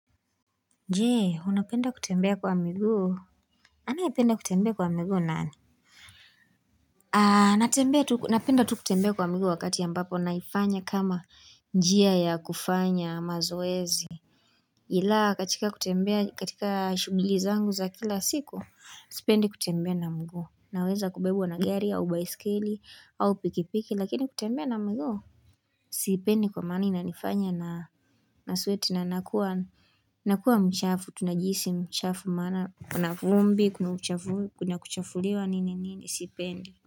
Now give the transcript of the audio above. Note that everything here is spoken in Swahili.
Je, unapenda kutembea kwa miguu. Anayependa kutembea kwa miguu nani? Ah, napenda tu kutembea kwa miguu wakati ambapo, naifanya kama njia ya kufanya mazoezi. Ila, katika kutembea, katika shughuli zangu za kila siku, sipendi kutembea na mguu. Naweza kubebwa na gari au baisikeli au pikipiki, lakini kutembea na miguu. Sipendi kwa maana inanifanya ninasweti na nakuwa nakuwa mchafu tu najihisi mchafu maana. Kuna vumbi, kuna kuchafuliwa nini nini, sipendi.